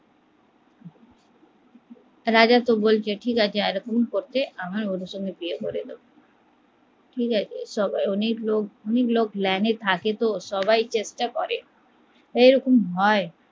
ঠিক আছে রাজা তো বলছে এরকম করলে অনেক লোক line এ থাকতো সবাই চেষ্টা করে এরকম হয়?